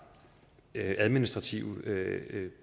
administrativ